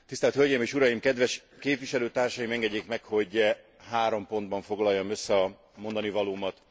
Tisztelt hölgyeim és uraim, kedves képviselőtársaim, engedjék meg, hogy három pontban foglaljam össze a mondanivalómat.